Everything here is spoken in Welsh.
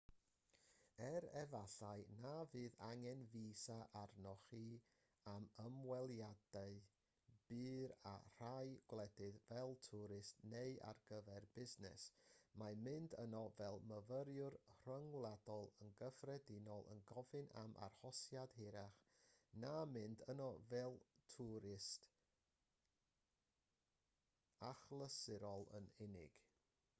er efallai na fydd angen fisa arnoch chi am ymweliadau byr â rhai gwledydd fel twrist neu ar gyfer busnes mae mynd yno fel myfyriwr rhyngwladol yn gyffredinol yn gofyn am arhosiad hirach na mynd yno fel twrist achlysurol yn unig